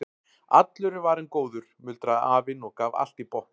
Allur er varinn góður muldraði afinn og gaf allt í botn.